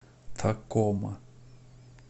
такома